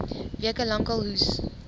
weke lank hoes